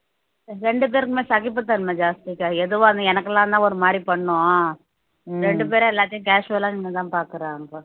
ரெண்டு பேருக்குமே சகிப்புத்தன்மை ஜாஸ்திக்கா எதுவா இருந்தாலும் எனக்கு எல்லாம் தான் ஒரு மாதிரி பண்ணும் ரெண்டு பேரும் எல்லாத்தையும் casual ஆ நின்னுதான் பார்க்கிறாங்க